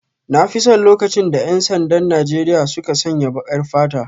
Na fi son lokacin da 'yan sandan Najeriya suka sanya baƙar fata.